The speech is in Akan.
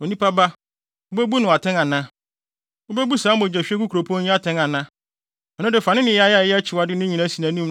“Onipa ba, wubebu no atɛn ana? Wubebu saa mogyahwiegu kuropɔn yi atɛn ana? Ɛno de fa ne nneyɛe a ɛyɛ akyiwade no nyinaa si nʼanim